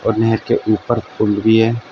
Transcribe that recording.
और नेहेर के ऊपर फूल भी हैं।